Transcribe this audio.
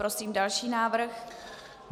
Prosím další návrh.